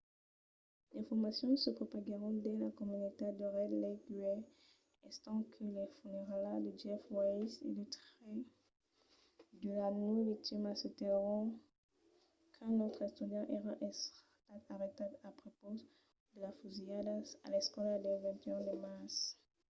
d'informacions se propaguèron dins la comunitat de red lake uèi estent que las funeralhas de jeff weise e de tres de las nòu victimas se tenguèron qu'un autre estudiant èra estat arrestat a prepaus de las fusilhadas a l'escòla del 21 de març